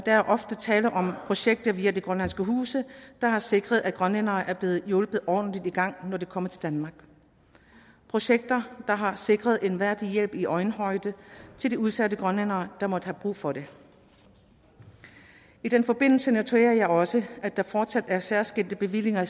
er ofte tale om projekter via de grønlandske huse der har sikret at grønlændere er blevet hjulpet ordentligt i gang når de er kommet til danmark projekter der har sikret en værdig hjælp i øjenhøjde til de udsatte grønlændere der måtte have brug for det i den forbindelse noterer jeg også at der fortsat er særskilte bevillinger